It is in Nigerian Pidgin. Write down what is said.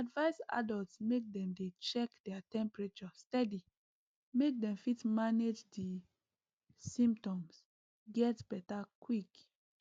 dem dey advise adults make dem dey check their temperature steady make dem fit manage di symptoms get beta quick